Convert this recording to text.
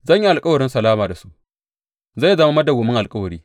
Zan yi alkawarin salama da su; zai zama madawwamin alkawari.